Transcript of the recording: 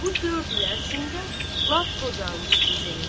Bu dörd il ərzində lap qocalmışdı Zeynəb.